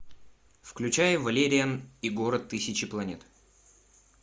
включай валериан и город тысячи планет